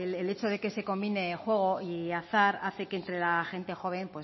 el hecho de que se convine juego y azar hace que entre la gente joven